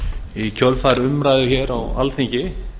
í kjölfar umræðu hér á alþingi